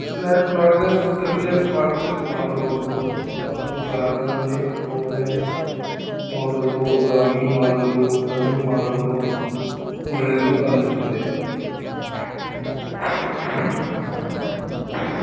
Net cricket practice ಮಾಡಬಹುದು ಮತ್ತು garden ಅಲ್ಲಿ ಒಳ್ಳೆ ನೋಡಲು ಜಾಗಿಂಗ್ ಮಾಡಲು ರನ್ನಿಂಗ್ ಮಾಡಲು ಒಳ್ಳೆಯದು ಅನ್ನಿಸುತ್ತಿದೆ.